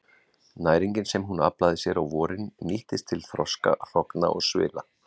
Næringin sem hún aflaði sér á vorin nýtist til þroska hrogna og svila.